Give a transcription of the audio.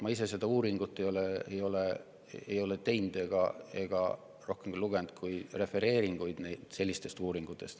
Ma ise seda uurinud ei ole ega ole lugenud rohkem, kui ainult refereeringuid sellistest uuringutest.